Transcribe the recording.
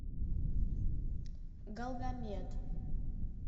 галгамет